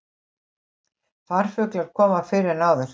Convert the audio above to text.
Farfuglar koma fyrr en áður